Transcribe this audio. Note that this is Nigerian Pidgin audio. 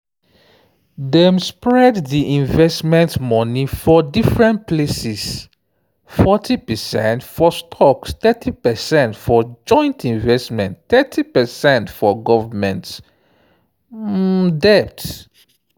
dem spread di investment money for different places: forty percent for stocks thirty percent for joint investments thirty percent for government um debt.